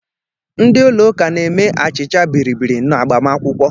Ndị ụlọụka na-eme achịcha bịrịbịrị n'agbamakwụkwọ